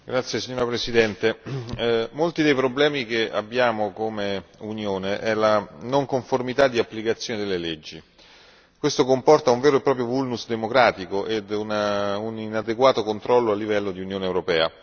Signor Presidente, onorevoli colleghi, molti dei problemi che abbiamo come Unione è la non conformità di applicazione delle leggi, questo comporta un vero e proprio vulnus democratico e un inadeguato controllo a livello di Unione europea.